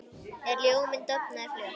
En ljóminn dofnaði fljótt.